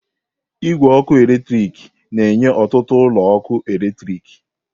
Igwe ọkụ eletrik na-enye ọtụtụ ụlọ ọkụ eletrik.